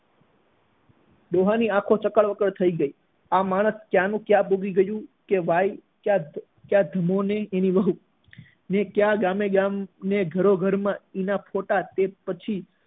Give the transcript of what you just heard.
ડોહા ની આંખો ચકર વકર થઇ ગઈ આ માણસ ક્યાં નું ક્યાં ડૂબી ગયું કે ભાઈ ક્યાં ક્યાં ધમો અને તેની વહુ ને ક્યાં ગામોગામ ને ઘરો ઘર માં ઇનામ ના ખોટા ફોટા પછી